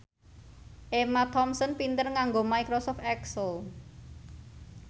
Emma Thompson pinter nganggo microsoft excel